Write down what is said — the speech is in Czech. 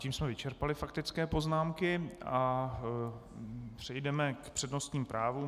Tím jsme vyčerpali faktické poznámky a přejdeme k přednostním právům.